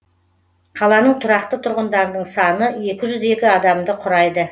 қаланың тұрақты тұрғындарының саны екі жүз екі адамды құрайды